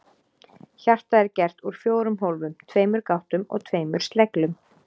Hjartað er gert úr fjórum hólfum, tveimur gáttum og tveimur sleglum.